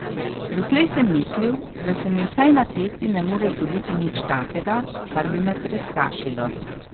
Doslej sem mislil, da se mi vsaj na cesti ne more zgoditi nič takega, kar bi me prestrašilo.